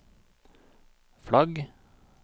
flagg